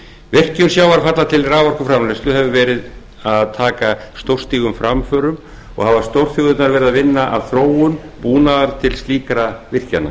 virkjun sjávarfalla til raforkuframleiðslu hefur tekið stórstígum framförum og hafa stórþjóðirnar unnið að þróun búnaðar til slíkra virkjana